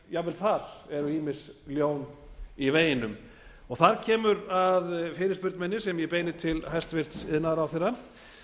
jafnvel þar eru ýmis ljón í veginum þar kemur að fyrirspurn minni sem ég beini til hæstvirts iðnaðarráðherra